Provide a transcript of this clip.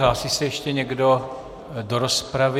Hlásí se ještě někdo do rozpravy?